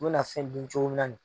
I bɛna fɛn dun cogo min na ni.